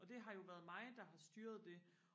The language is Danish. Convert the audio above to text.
og det har jo været mig der har styret det